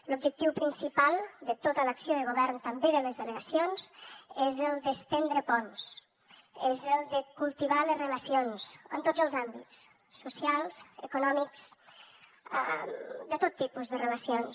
l’objectiu principal de tota l’acció de govern també de les delegacions és el d’estendre ponts és el de cultivar les relacions en tots els àmbits socials econòmics de tot tipus de relacions